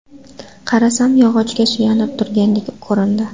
Qarasam, yog‘ochga suyanib turgandek ko‘rindi.